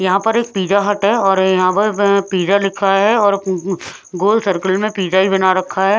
यहां पर एक पिज्जा हट है और यहां पर व व पिज्जा लिखा है और मम मम और गोल सर्किल में पिज्जा ही बना रखा है।